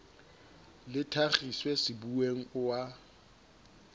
le thakgiswe sebuweng o a